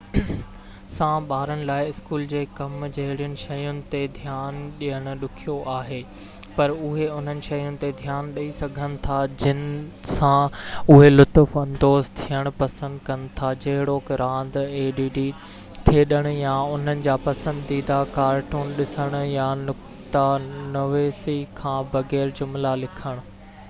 add سان ٻارن لاءِ اسڪول جي ڪم جهڙين شين تي ڌيان ڏيڻ ڏکيو آهي پر اهي انهن شين تي ڌيان ڏئي سگهن ٿا جن سان اهي لطف اندوز ٿيڻ پسند ڪن ٿا جهڙوڪ راند کيڏڻ يا انهن جا پسنديده ڪارٽون ڏسڻ يا نقته نويسي کان بغير جملا لکڻ